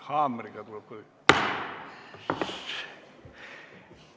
Ah, haamriga tuleb ka lüüa.